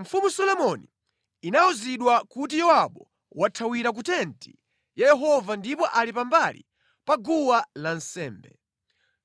Mfumu Solomoni inawuzidwa kuti Yowabu wathawira ku tenti ya Yehova ndipo ali pambali pa guwa lansembe.